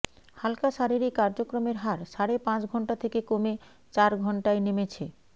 হালকা শারীরিক কার্যক্রমের হার সাড়ে পাঁচ ঘন্টা থেকে কমে চার ঘন্টায় নেমেছে